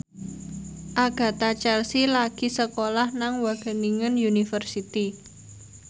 Agatha Chelsea lagi sekolah nang Wageningen University